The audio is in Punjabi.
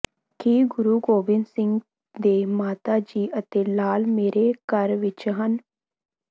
ਕਿ ਗੁਰੂ ਗੋੋਬਿੰਦ ਸਿੰਘ ਦੇ ਮਾਤਾ ਜੀ ਅਤੇ ਲਾਲ ਮੇਰੇ ਘਰ ਵਿੱਚ ਹਨ